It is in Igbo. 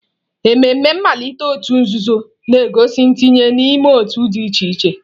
Ememe mmalite òtù nzuzo na-egosi ntinye n'ime otu dị iche iche.